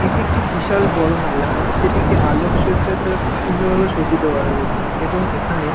এটি একটি বিশাল বড় মেলা যেটিকে আলোকসজ্জা দ্বারা খুব সুন্দর ভাবে সজ্জিত করা হয়েছে এবং এখানে--